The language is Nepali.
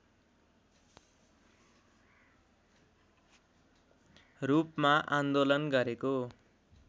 रूपमा आन्दोलन गरेको